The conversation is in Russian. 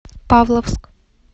павловск